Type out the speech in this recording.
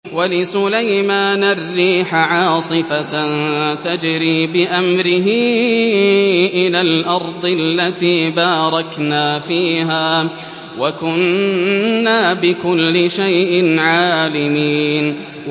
وَلِسُلَيْمَانَ الرِّيحَ عَاصِفَةً تَجْرِي بِأَمْرِهِ إِلَى الْأَرْضِ الَّتِي بَارَكْنَا فِيهَا ۚ وَكُنَّا بِكُلِّ شَيْءٍ عَالِمِينَ